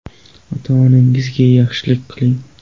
Ota-onangizga yaxshilik qiling.